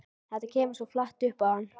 Þetta kemur svo flatt upp á hann.